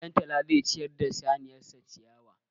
Ɗantala zai ciyar da saniyar sa ciyawa.